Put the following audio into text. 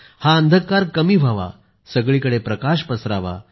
हा अंधकार कमी व्हावा सगळीकडे प्रकाश पसरावा